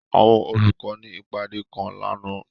Àwọn olukọ ni ipade kan làná.